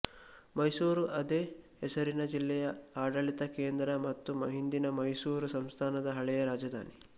ಮೈಸೂರು ಅದೇ ಹೆಸರಿನ ಜಿಲ್ಲೆಯ ಆಡಳಿತ ಕೇಂದ್ರ ಮತ್ತು ಹಿಂದಿನ ಮೈಸೂರು ಸಂಸ್ಥಾನದ ಹಳೆಯ ರಾಜಧಾನಿ